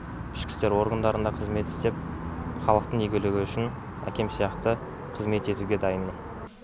ішкі істер органдарында қызмет істеп халықтың игілігі үшін әкем сияқты қызмет етуге дайынмын